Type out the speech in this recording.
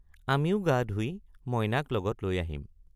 আমিও গা ধুই মইনাক লগত লৈ আহিম।